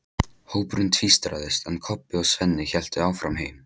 Hópurinn tvístraðist, en Kobbi og Svenni héldu áfram heim.